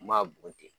N m'a bɔn ten